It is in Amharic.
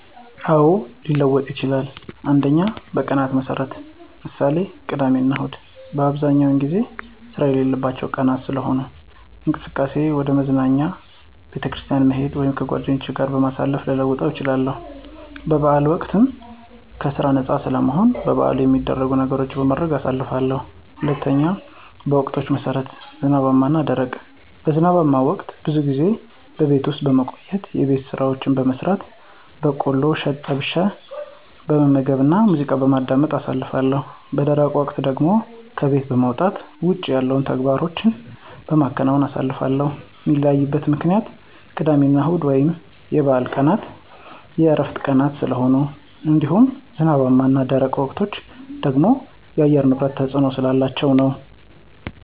አዎ፣ ሊለወጥ ይችላል። 1. በቀናት መሠረት ( ምሳሌ፦ ቅዳሜና እሁድ) በአብዛኛው ጊዜ ስራ የሌለባቸው ቀናት ስለሆኑ፣ እንቅስቃሴየ ወደ መዝናኛ፣ ቤተክርስቲያን መሄድ ወይም ከጓደኞቼ ጋር ጊዜ በማሳለፍ ልለውጣቸው እችላለሁ። በበዓላት ወቅትም ከስራ ነፃ ስለምሆን በበዓሉ ሚደረጉ ነገሮችን በማድረግ አሳልፋለሁ። 2. በወቅቶች መሠረት ( ዝናባማ እና ደረቅ ) በዝናባማ ወቅት ብዙ ጊዜ በቤት ውስጥ በመቆየት የቤት ስራዎችን በመስራት፣ በቆሎ እሸት ጠብሸ በመመገብና ሙዚቃ በማዳመጥ አሳልፋለሁ። _ በደረቅ ወቅት ደግሞ ከቤት በመውጣት ውጭ ላይ ያሉ ተግባሮቸን በመከወን አሳልፋለሁ። ሚለያይበት ምክንያትም ቅዳሜና እሁድ ወይም የበዓላት ቀናት የዕረፍት ቀናት ስለሆኑ እንዲሁም ዝናባማ እና ደረቅ ወቅቶች ደግሞ የአየር ንብረት ተፅዕኖ ስላላቸው ነዉ።